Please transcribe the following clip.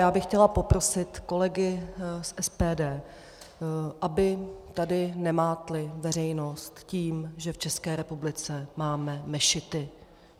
Já bych chtěla poprosit kolegy z SPD, aby tady nemátli veřejnost tím, že v České republice máme mešity.